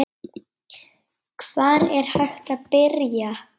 Hvar er hægt að byrja?